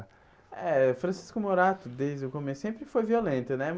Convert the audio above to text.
É, Francisco Morato, desde o começo, sempre foi violento, né?